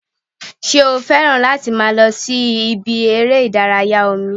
Ṣé o fẹ́ràn láti máa lọ sí ibi eré ìdárayá omi?